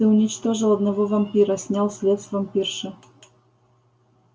ты уничтожил одного вампира снял след с вампирши